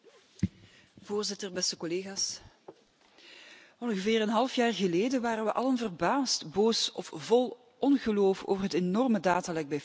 Voorzitter, beste collega's, ongeveer een half jaar geleden waren we allen verbaasd, boos of vol ongeloof over het enorme datalek bij Facebook.